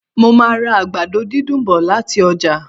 Mo màá ra àgbàdo dídùn bọ̀ lati ọ́jà